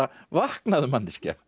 vaknaðu manneskja